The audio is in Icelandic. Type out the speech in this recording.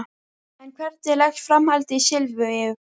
En hvernig leggst framhaldið í Silvíu?